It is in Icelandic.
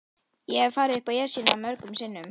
Ég hef farið upp Esjuna mörgum sinnum.